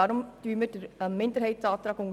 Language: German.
Deshalb unterstützen wir den Minderheitsantrag.